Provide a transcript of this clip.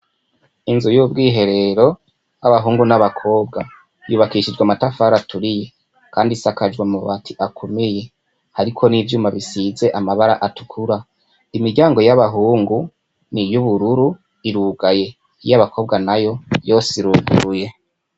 Inzu y'ubwiherero, y'abahungu n'abakobwa yubakishijwe amatafari aturiye, kandi isakajwe amabati akomeye, hariko n'ivyuma bisize amabara atukura, imiryango y'abahungu n'iyubururu irugaye, iyabakobwa nayo yose iruguruye.